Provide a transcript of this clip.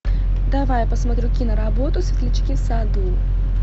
давай я посмотрю киноработу светлячки в саду